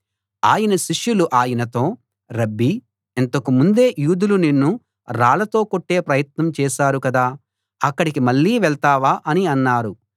ఆయన శిష్యులు ఆయనతో రబ్బీ ఇంతకు ముందే యూదులు నిన్ను రాళ్ళతో కొట్టే ప్రయత్నం చేశారు కదా అక్కడికి మళ్ళీ వెళ్తావా అని అన్నారు